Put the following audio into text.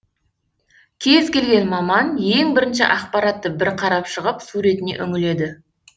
кез келген маман ең бірінші ақпаратты бір қарап шығып суретіне үңіледі